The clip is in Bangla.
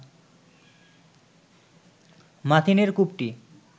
মাথিনের কূপটি